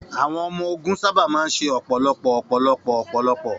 Àwọn ọmọ-ogun sábà máa ń ṣe ọ̀pọ̀lọpọ̀ ọ̀pọ̀lọpọ̀ ọ̀pọ̀lọpọ̀